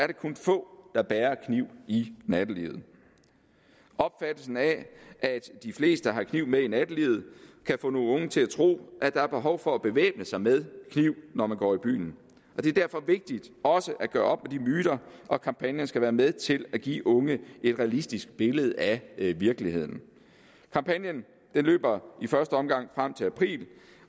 det kun få der bærer kniv i nattelivet opfattelsen af at de fleste har kniv med i nattelivet kan få nogle unge til at tro at der er behov for at bevæbne sig med kniv når man går i byen det er derfor vigtigt også at gøre op med de myter og kampagnen skal være med til at give unge et realistisk billede af virkeligheden kampagnen løber i første omgang frem til april